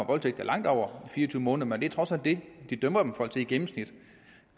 voldtægt er langt over fire og tyve måneder men det er trods alt det de dømmer folk i gennemsnit